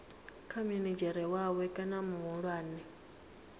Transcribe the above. kha minidzhere wawe kana muhulwane